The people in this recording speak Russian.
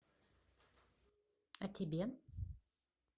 о тебе